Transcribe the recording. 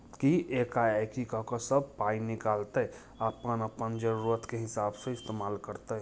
की एका-एकी कके सब पाई निकाल तई अपन-अपन जरूरत के हिसाब से इस्तेमाल करतइ।